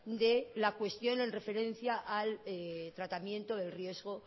de la cuestión en referencia al tratamiento del riesgo